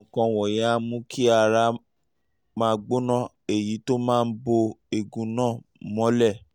àwọn nǹkan wọ̀nyí á mú kí ara máa gbóná èyí tó máa bo ẹ̀gún náà mọ́lẹ̀